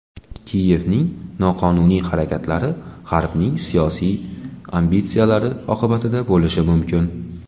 Kiyevning noqonuniy harakatlari G‘arbning siyosiy ambitsiyalari oqibatlari bo‘lishi mumkin.